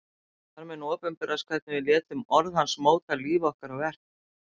Þar mun opinberast hvernig við létum orð hans móta líf okkar og verk.